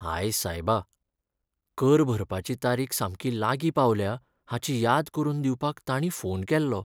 हाय सायबा! कर भरपाची तारीख सामकी लागीं पावल्या हाची याद करून दिवपाक तांणी फोन केल्लो.